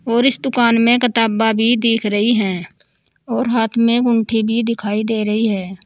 और इस दुकान में कताबा भी दिख रही हैं और हाथ में एक उंठी भी दिखाई दे रही है।